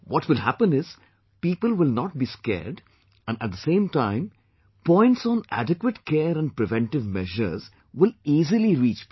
What will happen is, people will not be scared and at the same time, points on adequate care and preventive measures will easily reach people